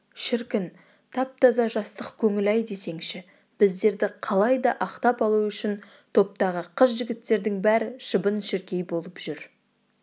шіркін тап-таза жастық көңіл-ай десеңші біздерді қалай да ақтап алу үшін топтағы қыз-жігіттердің бәрі шыбын-шіркей болып жүр